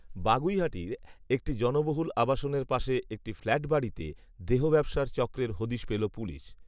বাগুইআটির একটি জনবহুল আবাসনের পাশে একটি ফ্ল্যাটবাড়িতে দেহব্যবসার চক্রের হদিস পেল পুলিশ